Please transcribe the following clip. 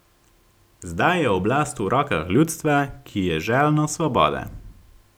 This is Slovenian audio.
Zdaj je oblast v rokah ljudstva, ki je željno svobode.